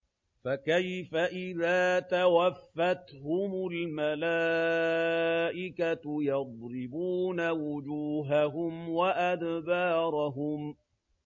فَكَيْفَ إِذَا تَوَفَّتْهُمُ الْمَلَائِكَةُ يَضْرِبُونَ وُجُوهَهُمْ وَأَدْبَارَهُمْ